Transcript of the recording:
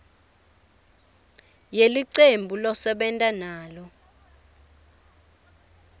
yelicembu losebenta nalo